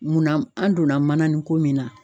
Munna an donna manannin ko min na